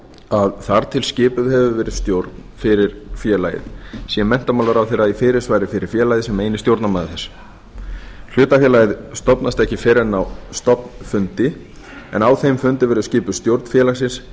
að þar til að skipuð hefur verið stjórn fyrir félagið sé menntamálaráðherra í fyrirsvari fyrir félagið sem eini stjórnarmaður þess hlutafélagið stofnast ekki fyrr en á stofnfundi en á þeim fundi verður skipuð stjórn félagsins